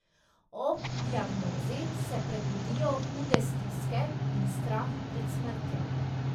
Ob diagnozi se prebudijo hude stiske in strah pred smrtjo.